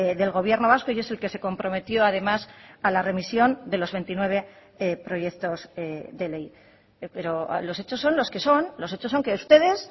del gobierno vasco y es el que se comprometió además a la remisión de los veintinueve proyectos de ley pero los hechos son los que son los hechos son que ustedes